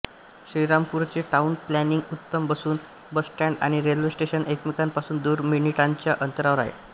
श्रीरामपूरचे town planning उत्तम असून bus stand आणि रेल्वे स्टेशन एकमेकांपासून दोन मिनिटांच्या अंतरावर आहेत